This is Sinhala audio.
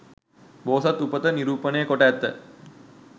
බෝසත් උපත නිරූපණය කොට ඇත.